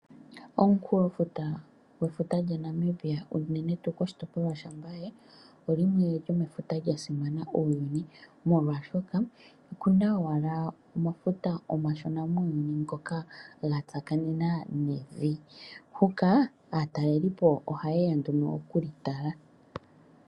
Omukulofuta gwefuta lyaNamibia unene tuu koshitopolwa shaMbaye olimwe lyomefuta lya simana muuyuni molwashoka okuna owala omafuta omashona muuyuni ngoka gatsakanena nevi. Huka , aatalelipo ohayeya nduno okulitala.